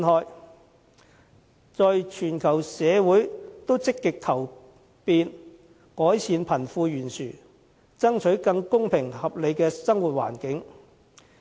現時，全球社會都積極求變，改善貧富懸殊，爭取更公平合理的生活環境。